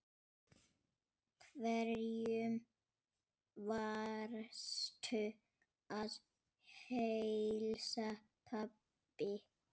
Hverjum varstu að heilsa, pabbi?